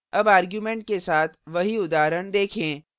अब arguments के साथ वही उदाहरण देखें